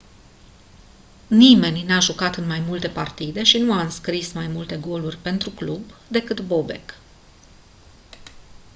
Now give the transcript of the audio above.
nimeni n-a jucat în mai multe partide și nu a înscris mai multe goluri pentru club decât bobek